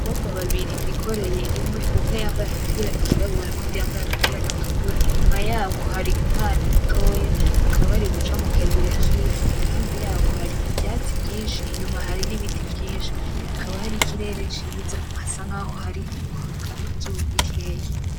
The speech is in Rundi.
Abakobwa babiri bikoreye inkwi umwe yambaye agapira kirabura n’uwundi yambaye agapira gatukura, inyuma yabo hari umwana mutoya bakaba bari guca mu kayira k'ivu iruhande yabo hari ivyatsi vyinshi inyuma hari n'ibiti vyinshi hakaba hari ikirere ciza hasa nkaho hari kwaka akazuba gakeyi.